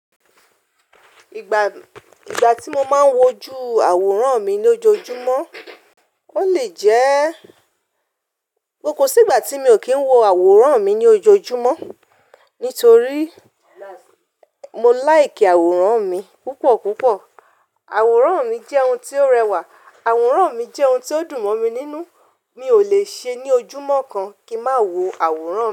Ìgbà, ìgbà tí mo máa ń wojú àwòrán mi ní ojoojúmọ́, ó lè jẹ́, koko sí ìgbà tí mi ò kí ń wo àwòrán mi ní ojoojúmọ́, nítorí mo like àwòrán mi púpọ̀ púpọ̀. Àwòrán mi jẹ́ ohun tí ó rẹwà, àwòrán mi jẹ́ ohun tí ó dùn mọ́ mi nínú, mi ò lè ṣe ní ojúmọ́ kan kí ń má wo àwòrán.